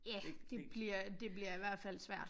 Ja det bliver det bliver i hvert fald svært